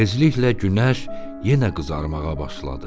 Tezliklə günəş yenə qızarmağa başladı.